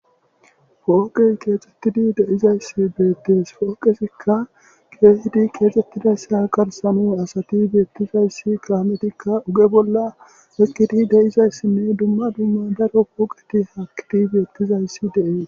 Poqe kexetidi de'izaysa betes poqezika kehidi kexetidaysa gatani asati betizaysi kamezika guye bola eqidi de'izaysinne duma duma daro poqeti hakidi betizaysi de'es.